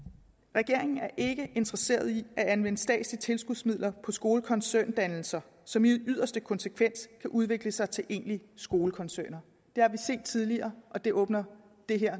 regeringen er ikke interesseret i at anvende statslige tilskudsmidler på skolekoncerndannelser som i yderste konsekvens kan udvikle sig til egentlige skolekoncerner det har vi set tidligere og det åbner det her